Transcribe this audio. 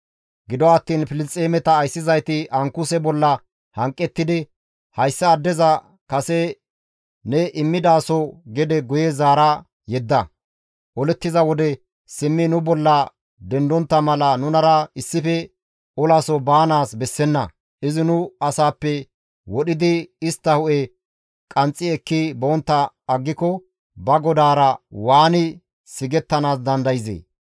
Gido attiin Filisxeemeta ayssizayti Ankuse bolla hanqettidi, «Hayssa addeza kase ne immidaso gede guye zaara yedda; olettiza wode simmi nu bolla dendontta mala nunara issife olaso baanaas bessenna; izi nu asaappe wodhidi istta hu7e qanxxi ekki bontta aggiko ba godaara waani sigettanaas dandayzee?